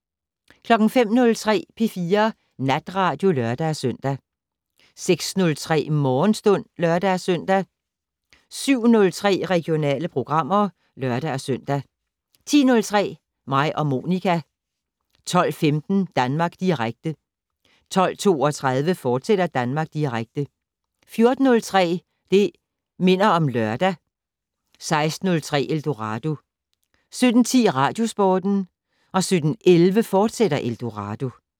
05:03: P4 Natradio (lør-søn) 06:03: Morgenstund (lør-søn) 07:03: Regionale programmer (lør-søn) 10:03: Mig og Monica 12:15: Danmark Direkte 12:32: Danmark Direkte, fortsat 14:03: Det' Minder om Lørdag 16:03: Eldorado 17:10: Radiosporten 17:11: Eldorado, fortsat